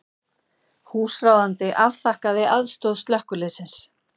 Húsráðandi afþakkaði aðstoð slökkviliðsins